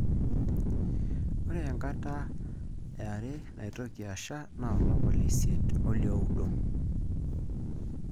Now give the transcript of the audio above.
Ore enkata yare naitoki asha naa olapa le isiet oliooudo.